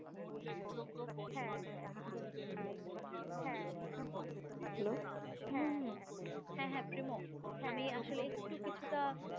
হম হ্যাঁ হ্যাঁ চলে আসবো আমি আসলে একটু কিছুটা